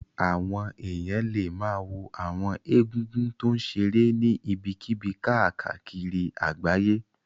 Àwọn èèyàn lè ma wo àwọn egúngún tó ń ṣeré ní ibikíbi káàkiri àgbáyé